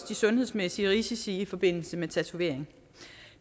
de sundhedsmæssige risici i forbindelse med tatovering